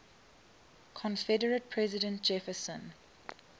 confederate president jefferson